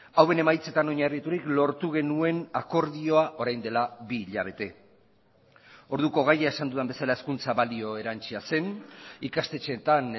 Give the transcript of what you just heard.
hauen emaitzetan oinarriturik lortu genuen akordioa orain dela bi hilabete orduko gaia esan dudan bezala hezkuntza balio erantsia zen ikastetxeetan